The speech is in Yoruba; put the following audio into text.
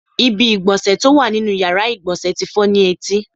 Ibi ìgbọ̀nsẹ̀ tó wà nínú ìyára ìgbọ̀nsẹ̀ tí fọ́ ni etí.